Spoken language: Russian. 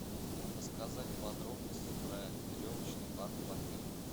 рассказать подробности про веревочный парк в отеле